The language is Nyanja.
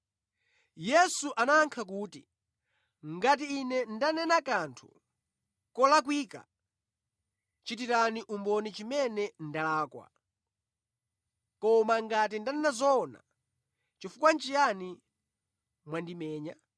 Yesu anayankha kuti, “Ngati Ine ndanena kanthu kolakwika, chitirani umboni chimene ndalakwa. Koma ngati ndanena zoona, nʼchifukwa chiyani mwandimenya?”